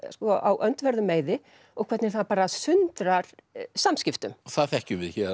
á öndverðum meiði og hvernig það sundrar samskiptum og það þekkjum við héðan